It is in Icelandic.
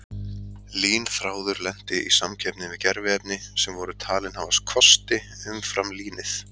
Línþráður lenti í samkeppni við gerviefni sem voru talin hafa kosti umfram línið.